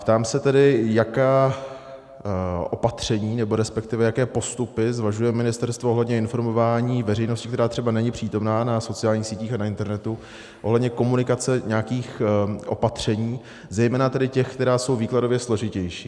Ptám se tedy, jaká opatření, nebo respektive jaké postupy zvažuje ministerstvo ohledně informování veřejnosti, která třeba není přítomna na sociálních sítích a na internetu, ohledně komunikace nějakých opatření, zejména tedy těch, která jsou výkladově složitější.